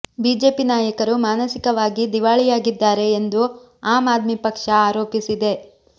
BJP ನಾಯಕರು ಮಾನಸಿಕವಾಗಿ ದಿವಾಳಿಯಾಗಿದ್ದಾರೆ ಎಂದು ಆಮ್ ಆದ್ಮಿ ಪಕ್ಷ ಆರೋಪಿಸಿದೆ